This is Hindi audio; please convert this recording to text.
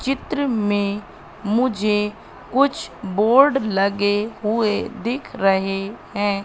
चित्र में मुझे कुछ बोर्ड लगे हुए दिख रहे हैं।